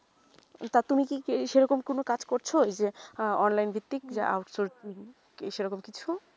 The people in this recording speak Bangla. টা তুমি কি সেইরকম কোনো কাজ করছো হা online যে টিক out sourcing সেই রকম কিছু